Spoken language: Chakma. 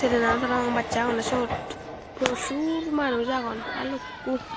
trenan parabang bassey agonne syot purosur manuj agon balukku.